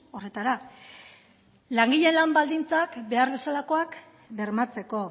horretara langileen lan baldintzak behar bezalakoak bermatzeko